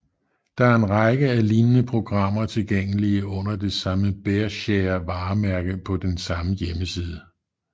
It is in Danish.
Der er en række af lignende programmer tilgængelige under det samme BearShare varemærke på den samme hjemmeside